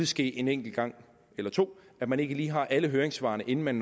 ske en enkelt gang eller to at man ikke lige har alle høringssvarene inden man